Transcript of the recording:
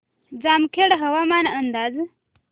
जामखेड हवामान अंदाज